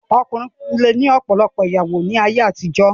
Ọkùnrin lè ní ọ̀pọ̀lọpọ̀ ìyàwó ní ayé àtijó.